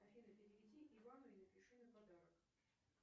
афина переведи ивану и напиши на подарок